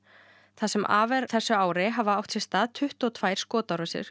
það sem af er þessu ári hafa átt sér stað tuttugu og tvö skotárásir